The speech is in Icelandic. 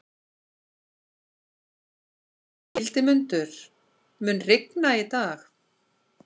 Hildimundur, mun rigna í dag?